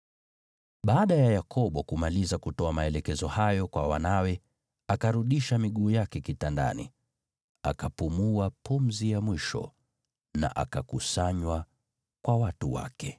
Baada ya Yakobo kumaliza kutoa maelekezo hayo kwa wanawe, akarudisha miguu yake kitandani, akapumua pumzi ya mwisho, na akakusanywa kwa watu wake.